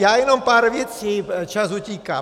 Já jenom pár věcí, čas utíká.